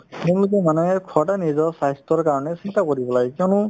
সেইমতে মানুহে সদায় নিজৰ স্বাস্থ্যৰ কাৰণে চিন্তা কৰিব লাগে কিয়নো